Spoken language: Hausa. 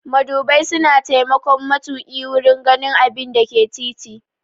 Madubai suna taimakon matuƙi wurin ganin abinda ke titi.